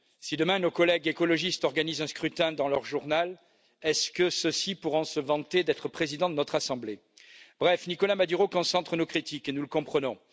Si demain nos collègues écologistes organisent un scrutin dans leur journal, ceux ci pourront ils se vanter d'être présidents de notre assemblée? Bref, Nicolás Maduro concentre nos critiques et nous le comprenons.